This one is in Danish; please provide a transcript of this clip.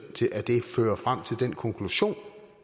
af det fører frem til den konklusion